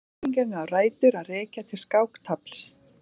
Líkingin á rætur að rekja til skáktafls.